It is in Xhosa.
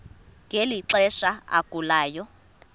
ngeli xesha agulayo